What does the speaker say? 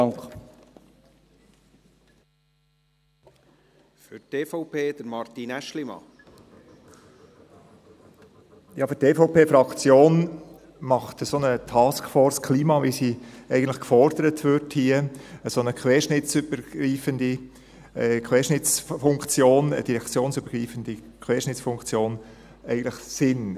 Ja, für die EVP-Fraktion macht eine solche Taskforce Klima, wie sie hier eigentlich gefordert wird, eine direktionsübergreifende Querschnittsfunktion, eigentlich Sinn.